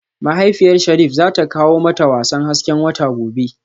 Mahaifiyar Sharif zata kawo mata wasan hasken wata gobe